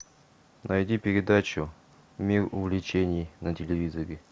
найди передачу мир увлечений на телевизоре